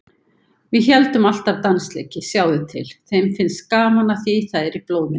Við héldum alltaf dansleiki, sjáðu til, þeim finnst gaman að því, það er í blóðinu.